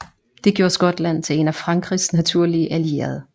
Det gjorde Skotland til en af Frankrigs naturlige allierede